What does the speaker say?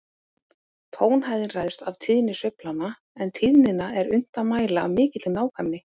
Tónhæðin ræðst af tíðni sveiflanna, en tíðnina er unnt að mæla af mikilli nákvæmni.